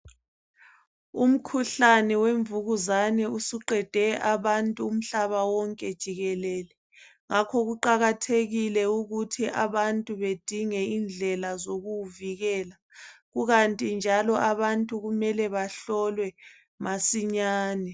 Umkhuhlane wemvukuzane usuqede abantu umhlaba wonke jikelele. Ngakho kuqakathekile ukuthi abantu bedinge indlela zokuwuvikela, kukanti njalo abantu kumele bahlolwe masinyane .